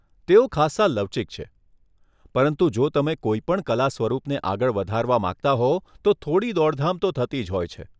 તેઓ ખાસ્સા લવચીક છે પરંતુ જો તમે કોઈપણ કલા સ્વરૂપને આગળ વધારવા માંગતા હો તો થોડી દોડધામ તો થતી જ હોય છે.